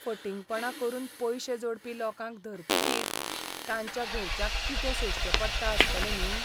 फटिंगपणां करून पयशे जोडपी लोकांक धरतकीच, तांच्या घरच्यांक कितें सोंसचें पडटा आसतलें न्ही!